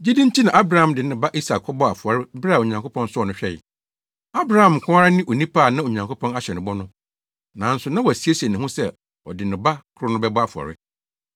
Gyidi nti Abraham de ne ba Isak kɔbɔɔ afɔre bere a Onyankopɔn sɔɔ no hwɛe. Abraham nko ara ne onipa a na Onyankopɔn ahyɛ no bɔ no, nanso na wasiesie ne ho sɛ ɔde ne ba koro no bɛbɔ afɔre.